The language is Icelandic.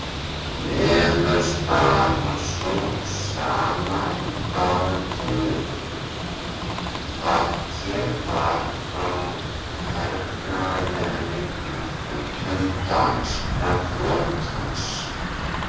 Niðurstaðan var sú sama í báðum tilvikum: fallið var frá hernaðarlegri íhlutun danska flotans.